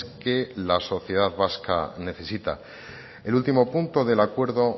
que la sociedad vasca necesita el último punto del acuerdo